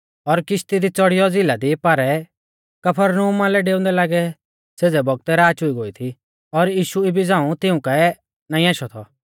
और किशती दी च़ौड़ियौ झ़िला दी पारै कफरनहूमा लै डेऊंदै लागै सेज़ै बौगतै राच हुई गोई थी और यीशु इबी झ़ांऊ तिऊं काऐ नाईं आशौ थौ